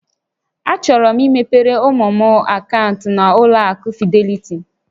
Achọrọ m imepere ụmụ m akaụntụ na-ụlọ akụ Fidelity